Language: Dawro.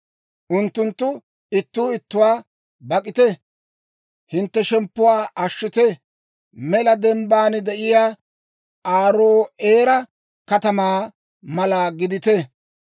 Unttunttu ittuu ittuwaa, ‹Bak'atite! hintte shemppuwaa ashshite!› Mela dembbaan de'iyaa Aaro'eera katamaa mala gidite.